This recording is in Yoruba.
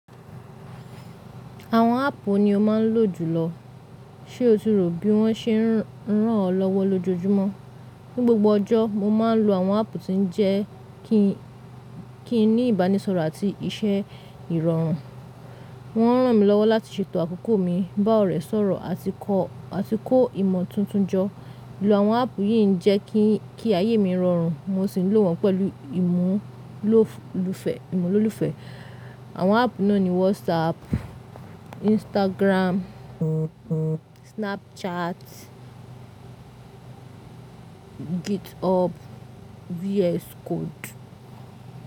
Àwọn áàpù ni o máa ń lò jùlọ, ṣe o tirọ̀ bí wọ́n ṣe ń ràn ọ́ lọ́wọ́ lójoojúmọ́? Ní gbogbo ọjọ́, mo máa ń lo àwọn áàpù tí ó jẹ́ kí n ní ìbánisọ̀rọ̀ àti iṣẹ́ ìrọ̀rùn. Wọ́n ń ràn mí lọ́wọ́ láti ṣètò àkókò mi, bá ọ̀rẹ́ sọ̀rọ̀ àti kọ́ ìmọ̀ tuntun jọ. Ìlò àwọn áàpù yìí ń jẹ́ kí ayé mi rọrùn, mo sì ń lò wọ́n pẹ̀lú ìmúlòfẹ́. Àwọn áàpù náà ni WhatsApp, Instagram, Snapchat, GitHub, VS Code.